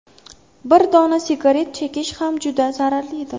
Bir dona sigaret chekish ham juda zararlidir.